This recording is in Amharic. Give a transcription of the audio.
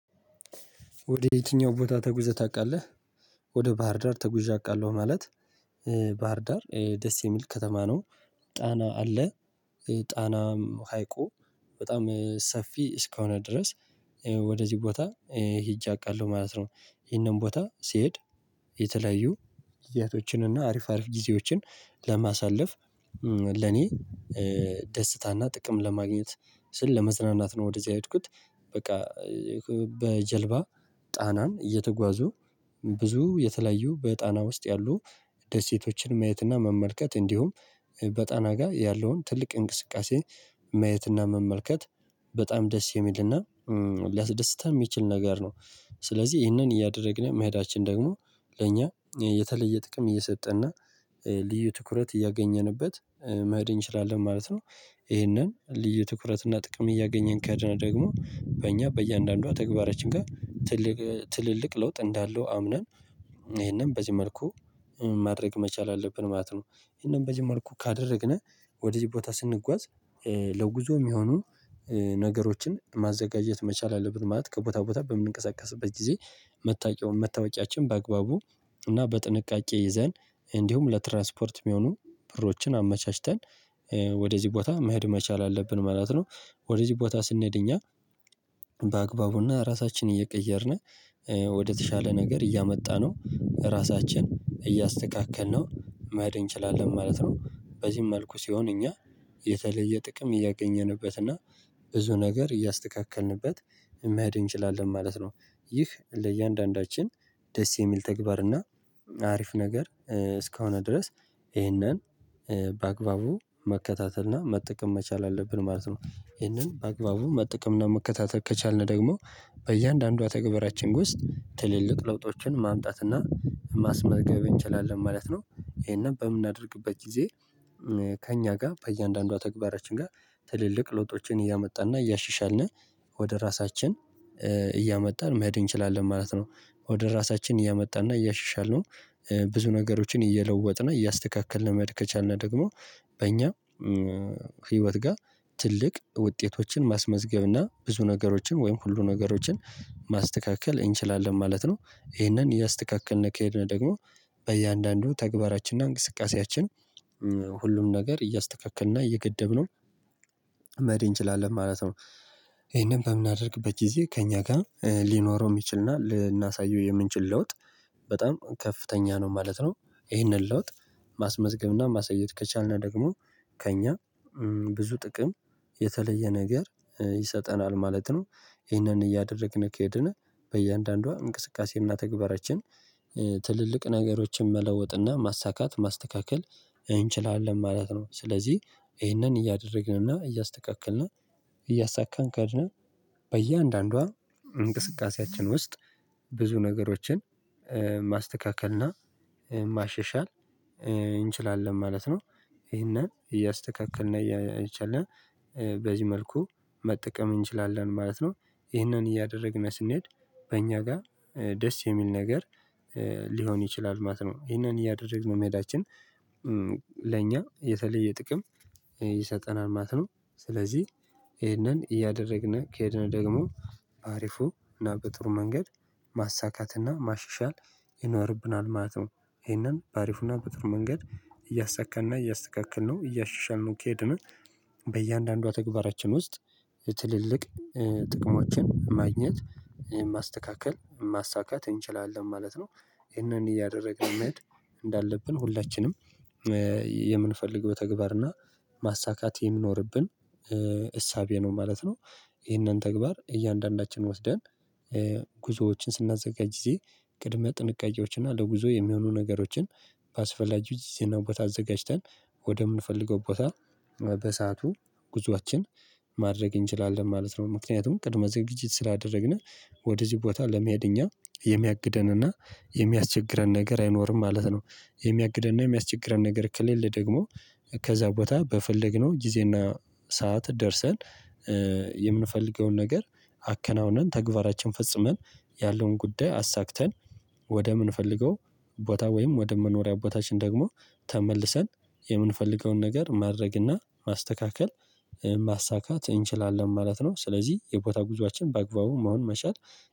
ወደ የትኛው ቦታ ተጉዘህ ታውቃለህ? ወደ ባህርዳር ተጉዣ አውቃለሁ ማለት ባህርዳር ደስ የሚል ከተማ ነው። ጣና አለ። ጣናም ሀይቁ በጣም ሰፊ እስከሆነ ድረስ። ወደዚህ ቦታ ሄጄ አውቃለሁ ማለት ነው። ይሄንን ቦታ ሲሄድ የተለያዩ ጊዚያቶችን አሪፍ አሪፍ ጊዜዎችን ለማሳለፍ ለኔ ደስታና ጥቅም ለማግኘት ስል ለመዝናናት ነው ወደዚህ አይድኩት። በቃ በጀልባ ጣናን እየተጓዙ ብዙ የተለያዩ በጣና ውስጥ ያሉ ደሴቶችን ማየትና መመልከት እንዲሁም በጣና ጋር ያለውን ትልቅ እንቅስቃሴ መየትና መመልከት በጣም ደስ የሚልና ሊያስደስታም የሚችል ነገር ነው። ስለዚህ ይህንን እያደረግን መሄዳችን ደግሞ ለእኛ የተለየ ጥቅም እየሰጠ እና ልዩ ትኩረት እያገኘንበት መሄድ እንችላለን ማለት ነው። ይሄንን ልዩ ትኩረት እና ጥቅም እያገኘን ከሄድን ደግሞ በእኛ በእያንዳንዷ ተግባራችን ጋር ትልልቅ ለውጥ እንዳለው አምነን ይሄንን በዚህ መልኩ ማድረግ መቻል አለብን ማለት ነው። ይሄንን በዚህ መልኩ ካደረግነው ወደዚህ ቦታ ስንጓዝ ለውጉዞ የሚሆኑ ነገሮችን ማዘጋጀት መቻል አለበት ማለት ከቦታ ቦታ በምንቀሳቀስበት ጊዜ መታወቂያውን መታወቂያችን በአግባቡ እና በጥንቃቄ ይዘን እንዲሁም ለትራንስፖርት የሚሆኑ ብሮችን አመቻችተን ወደዚህ ቦታ መሄድ መቻል አለብን ማለት ነው። ወደዚህ ቦታ ስንሄድ እኛ በአግባቡና ራሳችንን እየቀየርነ ወደተሻለ ነገር እያመጣነው ራሳችን እያስተካከልነው መሄድ እንችላለን ማለት ነው። በዚህም መልኩ ሲሆን እኛ የተለየ ጥቅም እያገኘንበት እና ብዙ ነገር እያስተካከልንበት መሄድ እንችላለን ማለት ነው። ይህ ለእያንዳንዳችን ደስ የሚል ተግባር እና አሪፍ ነገር እስከሆነ ድረስ ይሄንን በአግባቡ መከታተል እና መጠቀም መቻል አለብን ማለት ነው። ይህንን አግባቡን መጠቀምና መከታተል ከቻልን ደግሞ በእያንዳንዷ ተገበራችን ውስጥ ትልልቅ ለውጦችን ማምጣት እና ማስመዝገብ እንችላለን ማለት ነው። ይሄንን በምናደርግበት ጊዜ ከእኛ ጋር በእያንዳንዷ ተግባራችን ጋር ትልልቅ ለውጦችን እያመጣና እያሽሻልን ወደ ራሳችን እያመጣን መሄድ እንችላለን ማለት ነው። ወደ ራሳችን እያመጣን እያሻሻልን ብዙ ነገሮችን እየለወጥና እያስተካከልን መድከቻልና ደግሞ በእኛ ህይወት ጋር ትልቅ ውጤቶችን ማስመዝገብ እና ብዙ ነገሮችን ወይም ሁሉ ነገሮችን ማስተካከል እንችላለን ማለት ነው። ይሄንን እያስተካከልን ከሄድን ደግሞ በእያንዳንዱ ተግባራችንና እንቅስቃሴያችን ሁሉም ነገር እያስተካከልና እየገደብነው መሄድ እንችላለን ማለት ነው። ይሄንን በምናደርግበት ጊዜ ከእኛ ጋር ሊኖረው የሚችልና ልናሳየው የምንችል ለውጥ በጣም ከፍተኛ ነው ማለት ነው። ይሄንን ለውጥ ማስመዝገብና ማሳየት ከቻልን ደግሞ ከእኛ ብዙ ጥቅም የተለየ ነገር ይሰጠናል ማለት ነው። ይህንን እያደረግን ከሄድን በእያንዳንዷ እንቅስቃሴና ተግባራችን ትልልቅ ነገሮችን መለወጥና ማሳካት ማስተካከል እንችላለን ማለት ነው። ስለዚህ ይሄንን እያደረግንና እያስተካክልን እያሳካን ከሄድነ በየአንዳንዷ እንቅስቃሴያችን ውስጥ ብዙ ነገሮችን ማስተካከልና ማሸሻል እንችላለን ማለት ነው። ይሄንን እያስተካከልን እየቻልን በዚህ መልኩ መጠቀም እንችላለን ማለት ነው። ይህንን እያደረግን ስንሄድ በእኛ ጋር ደስ የሚል ነገር ሊሆን ይችላል ማለት ነው። ይሄንን እያደረግን መሄዳችን ለኛ የተለየ ጥቅም ይሰጠናል ማለት ነው። ስለዚህ ይሄንን እያደረግን ከሄድን ደግሞ አሪፉ እና በጥሩ መንገድ ማሳካት እና ማሽሻል ይኖርብናል ማለት ነው። ይሄንን በአሪፉና በጥሩ መንገድ እያሳካንና እያስተካክል ነው እያሻሻልን ነው ከሄድነው ተግባራችን ውስጥ ትልልቅ ጥቅሞችን ማግኘት ማስተካከል ማሳካት እንችላለን ማለት ነው። ይሄንን እያደረግን መሄድ እንዳለብን ሁላችንም የምንፈልግ በተግባር እና ማሳካት የምኖርብን እሳቤ ነው ማለት ነው። ይሄንን ተግባር እያንዳንዳችን ወስደን ጉዞዎችን ስናዘጋጅ ጊዜ ቅድመ ጥንቃቄዎችን እና ለጉዞ የሚሆኑ ነገሮችን ባስፈላጊው ጊዜና ቦታ አዘጋጅተን ወደምንፈልገው ቦታ በሰአቱ ጉዞአችን ማድረግ እንችላለን ማለት ነው። ምክንያቱም ቅድመ ዝግጅት ስላደረግነ ወደዚህ ቦታ ለመሄድ እኛ የሚያግደንና የሚያስቸግረን ነገር አይኖርም ማለት ነው። የሚያግደንና የሚያስቸግረን ነገር ከሌለ ደግሞ ከዛ ቦታ በፈለግነው ጊዜና ሰዓት ደርሰን የምንፈልገውን ነገር አከናውነን ተግባራችን ፈጽመን ያለውን ጉዳይ አሳክተን ወደምንፈልገው ቦታ ወይም ወደ መኖሪያ ቦታችን ደግሞ ተመልሰን የምንፈልገውን ነገር ማድረግና ማስተካከል ማሳካት እንችላለን ማለት ነው። ስለዚህ የቦታ ጉዞአችን በአግባቡ መሆን መቻል